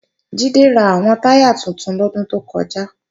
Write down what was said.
Jídé ra àwọn táyà tuntun lọ́dún tó kọjá